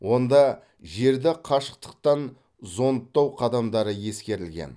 онда жерді қашықтықтан зондтау қадамдары ескерілген